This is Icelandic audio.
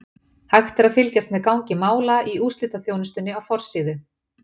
Hægt er að fylgjast með gangi mála í úrslitaþjónustu á forsíðu.